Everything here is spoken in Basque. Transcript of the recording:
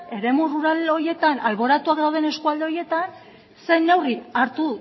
eremu rural horietan alboratuak dauden eskualde horietan zer neurri hartu